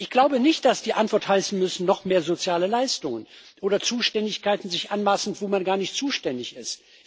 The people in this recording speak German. Ich glaube nicht, dass die Antworten heißen müssen noch mehr soziale Leistungen oder sich Zuständigkeiten anmaßen, wo man gar nicht zuständig ist.